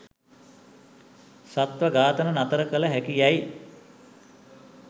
සත්ව ඝාතන නතර කළ හැකි යැයි